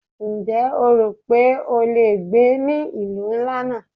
Ǹjẹ́ o rò wípé o le gbé ní ìlú ńlá náà?